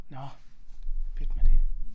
Nåh pyt med det